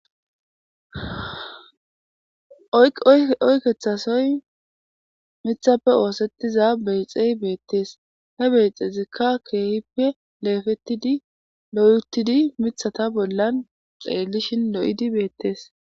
Oykethasoy mithappe oossettiza beyxey beettees he beexeezikka keehippe leefettidi loyeuttidi mithata bollan xeellishin lo'idi beettees.